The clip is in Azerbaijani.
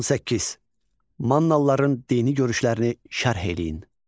18. Mannalıların dini görüşlərini şərh eləyin.